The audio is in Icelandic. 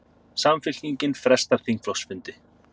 Samfylkingin frestar þingflokksfundi